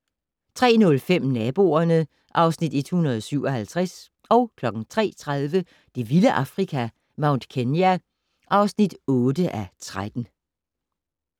03:05: Naboerne (Afs. 157) 03:30: Det vilde Afrika - Mount Kenya (8:13)